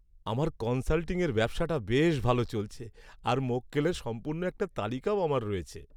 আমার কনসাল্টিংয়ের ব্যবসাটা বেশ ভালো চলছে, আর মক্কেলের সম্পূর্ণ একটা তালিকাও আমার রয়েছে।